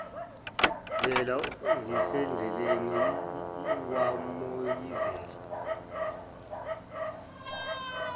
vele ngisendleleni wamoyizela